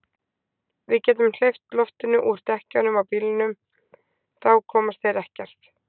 Við getum hleypt loftinu úr dekkjunum á bílnum. þá komast þeir ekkert.